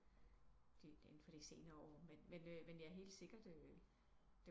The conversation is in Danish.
Inde for de senere år men men ja øh helt sikkert